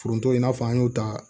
Foronto in n'a fɔ an y'o ta